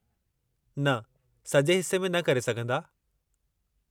न, सजे॒ हिस्से में न करे सघंदा।